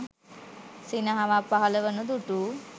සිනහවක් පහළ වනු දුටු